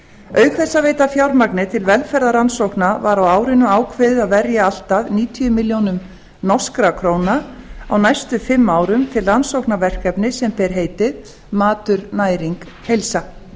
auk þess að veita fjármagni til velferðarrannsókna var á árinu ákveðið að verja allt að níutíu milljónir norskar krónur á næstu fimm árum til rannsóknaverkefnis sem ber heitið matur næring heilsa